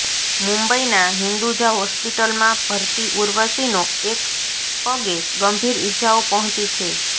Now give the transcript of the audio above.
મુંબઇના હિંદુજા હોસ્પિટલમાં ભરતી ઉર્વશીનો એક પગે ગંભીર ઇજાઓ પહોંચી છે